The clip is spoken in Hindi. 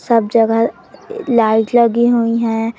सब जगह लाइट लगी हुई है।